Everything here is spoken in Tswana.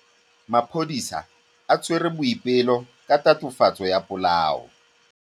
Maphodisa a tshwere Boipelo ka tatofatsô ya polaô.